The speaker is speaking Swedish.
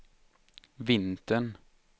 vintern